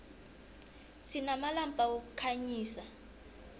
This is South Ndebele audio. sinamalampa wokukhanyisa